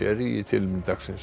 í tilefni dagsins